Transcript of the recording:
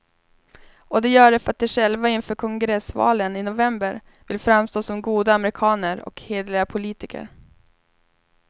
Och de gör det för att de själva inför kongressvalen i november vill framstå som goda amerikaner och hederliga politiker.